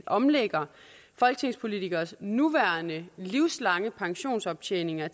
omlægger folketingspolitikeres nuværende livslange pensionsoptjeninger